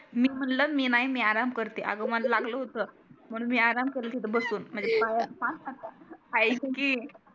मी म्हणल मी नाही मी आराम करते अग मला लागल होत म्हणून मी आराम करत होते तिथे बसून म्हणजे पाया आयक की